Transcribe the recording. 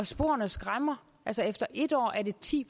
sporene skræmmer efter en år er det ti